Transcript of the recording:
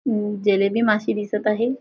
अं जलेबी मासे दिसत आहे.